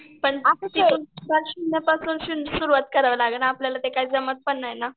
शून्यापासून सुरुवात करायला लागेल ना आपल्याला ते काय जमत पण नाही ना.